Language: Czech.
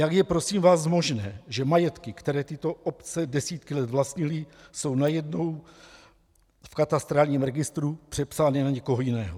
Jak je prosím vás možné, že majetky, které tyto obce desítky let vlastnily, jsou najednou v katastrálním registru přepsány na někoho jiného?